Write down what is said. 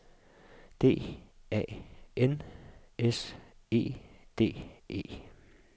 D A N S E D E